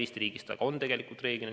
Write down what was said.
Eesti riigis see reeglina nii ka on.